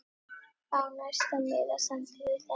Á næsta miða stendur þetta